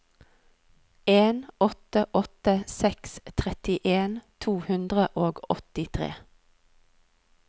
en åtte åtte seks trettien to hundre og åttitre